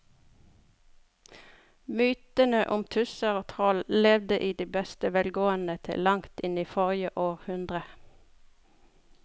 Mytene om tusser og troll levde i beste velgående til langt inn i forrige århundre.